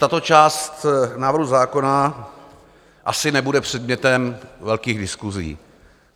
Tato část návrhu zákona asi nebude předmětem velkých diskusí.